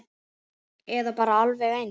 Eða bara alveg eins.